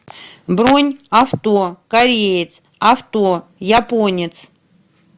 бронь авто кореец авто японец